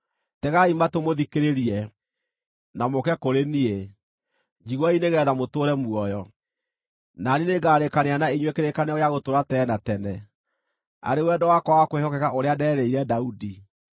Tegai matũ mũthikĩrĩrie, na mũũke kũrĩ niĩ; njiguai nĩgeetha mũtũũre muoyo. Na niĩ nĩngarĩĩkanĩra na inyuĩ kĩrĩkanĩro gĩa gũtũũra tene na tene, arĩ wendo wakwa wa kwĩhokeka ũrĩa nderĩire Daudi.